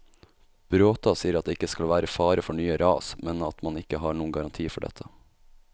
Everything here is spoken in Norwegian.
Bråta sier at det ikke skal være fare for nye ras, men at man ikke har noen garanti for dette.